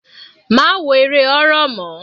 Má wo eré horror mọ́.